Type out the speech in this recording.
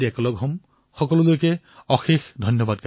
আপোনালোক সকলোলৈ মোৰ অশেষ ধন্যবাদ